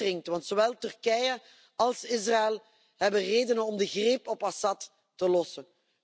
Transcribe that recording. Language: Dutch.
De tijd dringt, want zowel Turkije als Israël hebben redenen om de greep op Assad te lossen.